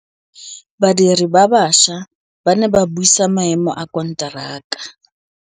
Badiri ba baša ba ne ba buisa maêmô a konteraka.